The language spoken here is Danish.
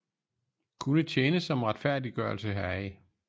Kunne tjene som retfærdiggørelse heraf